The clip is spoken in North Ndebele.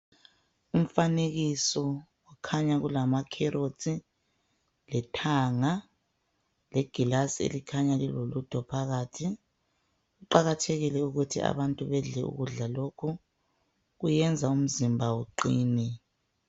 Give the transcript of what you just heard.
Umfanekiso kukhanya kulama carrots lethanga legilazi elikhanya lilolutho phakathi kuqakathekile ukuthi abantu bedle ukudla lokhu kuyenza umzimba uqine.